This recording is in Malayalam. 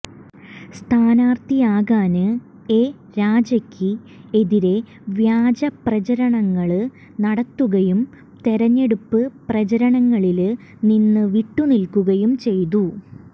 സ്ഥാനാര്ഥിയാകാന് എ രാജയ്ക്ക് എതിരെ വ്യാജ പ്രചാരണങ്ങള് നടത്തുകയും തെരഞ്ഞെടുപ്പ് പ്രചാരണങ്ങളില് നിന്ന് വിട്ട് നില്ക്കുകയും ചെയ്തു